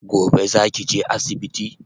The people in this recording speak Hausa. Gobe zaki je asibiti?